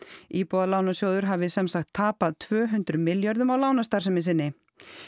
íbúðalánasjóður hafi sem sagt tapað tvö hundruð milljörðum á lánastarfsemi sinni